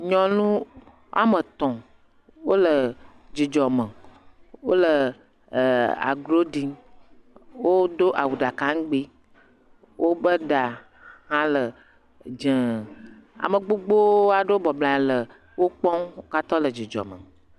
Nyɔnu wòa etɔ wole dzi me. Wòle e agro ɖim. Wodo awu ɖeka ŋugbi. Woƒe ɖa hã le dzɛ. Ame gbogbo aɖewo bɔbɔ nɔ anyi le wokpɔm. Wo katã wòle dzidzɔ me.